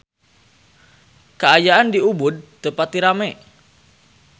Kaayaan di Ubud teu pati rame